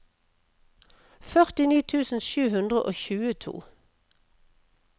førtini tusen sju hundre og tjueto